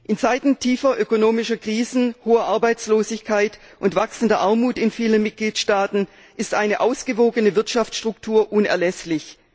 In Zeiten tiefer ökonomischer Krisen, hoher Arbeitslosigkeit und wachsender Armut in vielen Mitgliedstaaten ist eine ausgewogene Wirtschaftsstruktur unerlässlich.